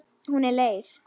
Hún er leið.